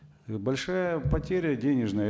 большая потеря денежная